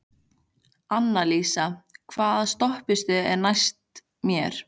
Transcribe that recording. Annalísa, hvaða stoppistöð er næst mér?